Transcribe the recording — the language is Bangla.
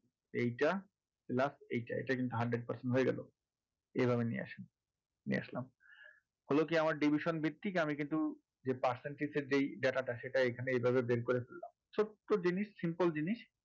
এইটা plus এইটা এইটা কিন্তু hundred percent হয়ে গেলো এভাবে নিয়ে আসুন নিয়ে আসলাম হলো কি আমার division ভিত্তিক আমি কিন্তু যে percentage এর যেই data টা সেটা এখানে এইভাবে বের করে ফেললাম ছোট্ট জিনিস simple জিনিস